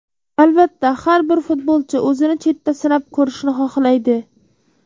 Albatta, har bir futbolchi o‘zini chetda sinab ko‘rishni xohlaydi.